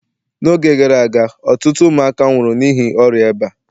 n'oge gara aga ọtụtụ ụmụaka nwụrụ n'ihi ọrịa eba